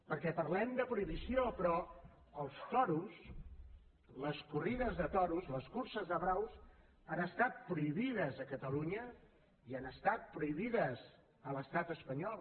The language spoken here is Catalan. perquè parlem de prohibició però els toros les corrides de toros les curses de braus han estat prohibides a catalunya i han estat prohibides a l’estat espanyol